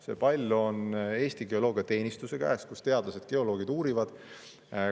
See pall on Eesti Geoloogiateenistuse käes, kus teadlased-geoloogid asja uurivad.